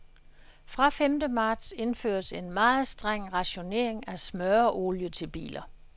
Fra femte marts indføres en meget streng rationering af smøreolie til biler.